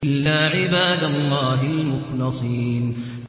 إِلَّا عِبَادَ اللَّهِ الْمُخْلَصِينَ